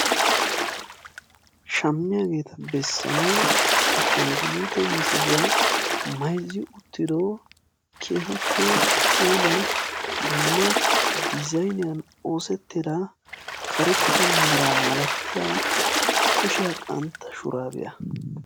Shammiyaageeta bessanawu ashanguluute misiliya mayzzi wottido keehippe puula dumma diizayniyan oosettida karetta mera malatiyaa kushiyaa qantta shuraabiya.